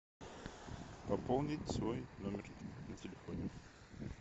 пополнить свой номер на телефоне